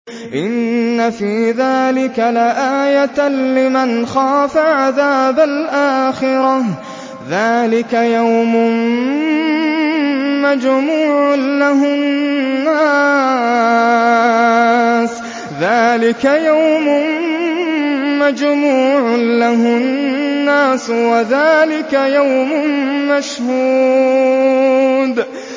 إِنَّ فِي ذَٰلِكَ لَآيَةً لِّمَنْ خَافَ عَذَابَ الْآخِرَةِ ۚ ذَٰلِكَ يَوْمٌ مَّجْمُوعٌ لَّهُ النَّاسُ وَذَٰلِكَ يَوْمٌ مَّشْهُودٌ